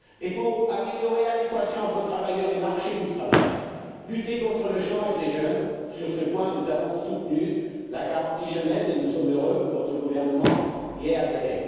Pour améliorer l'adéquation entre travailleurs et marché du travail et lutter contre le chômage des jeunes, nous avons, sur ce point, soutenu la garantie jeunesse et nous sommes heureux que votre gouvernement y ait adhéré.